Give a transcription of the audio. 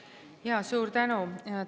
Jaa, suur tänu!